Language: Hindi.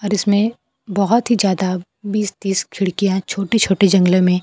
और इसमें बहोत ही ज्यादा बीस तीस खिड़कियां छोटी छोटी जंगले में--